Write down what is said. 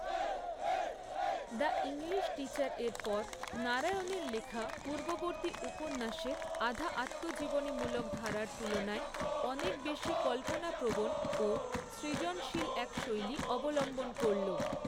The English টিচার'এর পর, নারায়ণের লেখা পূর্ববর্তী উপন্যাসের আধা আত্মজীবনীমূলক ধারার তুলনায় অনেক বেশি কল্পনাপ্রবণ ও সৃজনশীল এক শৈলী অবলম্বন করল।